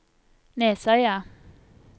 Nesøya